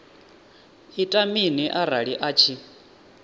ita mini arali a tshi